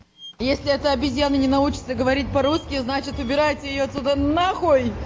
если это обезьяна не научится говорить по-русски значит убираете её отсюда нахуй